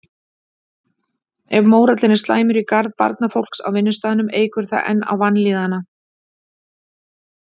Ef mórallinn er slæmur í garð barnafólks á vinnustaðnum eykur það enn á vanlíðanina.